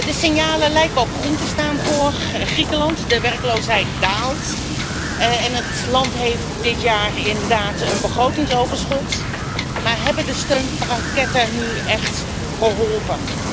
De signalen lijken op groen te staan voor Griekenland de werkloosheid daalt en het land heeft dit jaar inderdaad een begrotingsoverschot, maar hebben de steunpakketten nu echt geholpen?